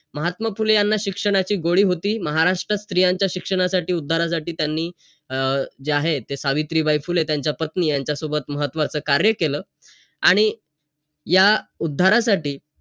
महात्मा फुले यांना शिक्षणाची गोडी होती. महाराष्ट्रात स्त्रियांच्या शिक्षणासाठी, उद्धारासाठी त्यांनी अं जे आहे ते सावित्रीबाई फुले, त्यांच्या पत्नी, यांच्यासोबत महत्वाचं कार्य केलं. आणि या उद्धारासाठी,